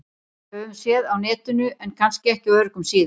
Höfum séð á Netinu- en kannski ekki á öruggum síðum.